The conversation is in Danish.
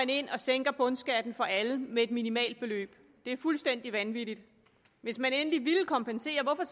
ind og sænker bundskatten for alle med et minimalt beløb det er fuldstændig vanvittigt hvis man endelig ville kompensere hvorfor